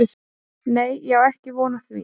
Nei ég á ekki von á því.